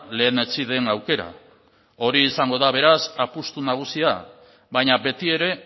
lehenetsi den aukera hori izango da beraz apustu nagusia baina beti ere